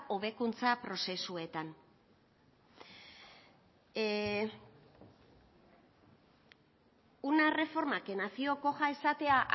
hobekuntza prozesuetan una reforma que nació coja esatea